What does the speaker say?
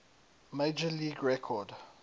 major league record